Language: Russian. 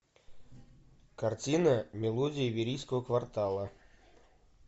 картина мелодии верийского квартала